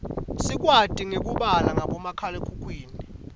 sikwati nekubala ngabomakhalekhukhwini